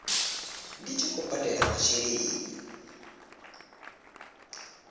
ndi tshi khou badela masheleni